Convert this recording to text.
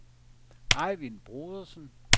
Ejvind Brodersen